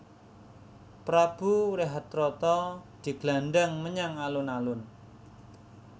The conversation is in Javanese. Prabu Wrehatrata diglandhang menyang alun alun